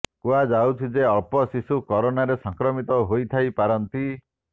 କୁହାଯାଉଛି ଯେ ଅଳ୍ପ ଶିଶୁ କରୋନାରେ ସଂକ୍ରମିତ ହୋଇଥାଇ ପାରନ୍ତି